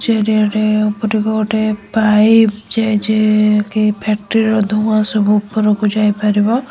ଚାରିଆଡେ ଉପରକୁ ଗୋଟାଏ ପାଇପ୍ ଯାଇଚି କି ଫ୍ୟାକ୍ଟ୍ରି ର ଧୁଆଁ ସବୁ ଉପରକୁ ଯାଇପାରିବ।